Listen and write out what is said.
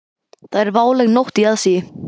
Það er váleg nótt í aðsigi.